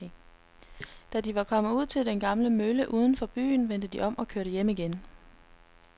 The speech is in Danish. Da de var kommet ud til den gamle mølle uden for byen, vendte de om og kørte hjem igen.